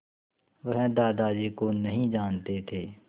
वह दादाजी को नहीं जानते थे